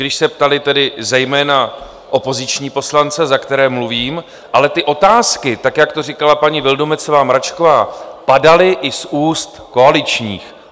Když se ptali tedy zejména opoziční poslanci, za které mluvím, ale ty otázky, tak jak to říkala paní Vildumetzová Mračková, padaly i z úst koaličních.